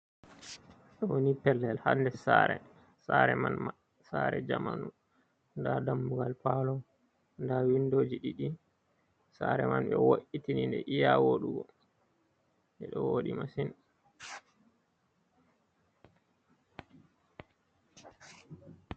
Ɗo woni pellel hader sare, sare man sare zamanu ɗa dammugal palo, ɗa windoji ɗiɗi, sare man ɓe wo’itini de iya wodugo deɗo woɗi masin.